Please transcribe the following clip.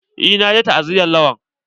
Eh na je ta'aziyan Lawan.